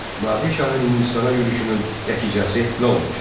Nadir şahın Hindistana yürüşünün nəticəsi nə olmuşdur?